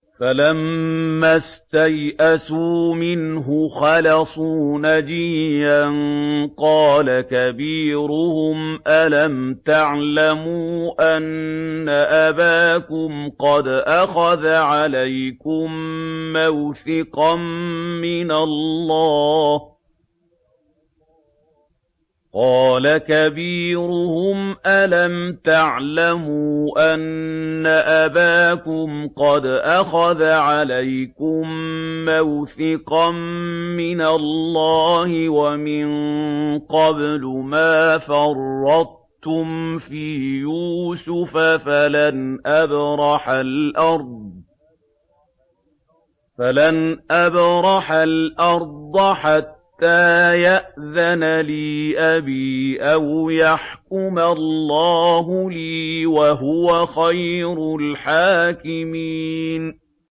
فَلَمَّا اسْتَيْأَسُوا مِنْهُ خَلَصُوا نَجِيًّا ۖ قَالَ كَبِيرُهُمْ أَلَمْ تَعْلَمُوا أَنَّ أَبَاكُمْ قَدْ أَخَذَ عَلَيْكُم مَّوْثِقًا مِّنَ اللَّهِ وَمِن قَبْلُ مَا فَرَّطتُمْ فِي يُوسُفَ ۖ فَلَنْ أَبْرَحَ الْأَرْضَ حَتَّىٰ يَأْذَنَ لِي أَبِي أَوْ يَحْكُمَ اللَّهُ لِي ۖ وَهُوَ خَيْرُ الْحَاكِمِينَ